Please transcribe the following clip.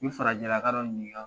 U ye farajɛlaka dɔ ɲininka